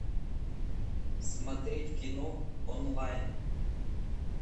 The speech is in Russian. смотреть кино онлайн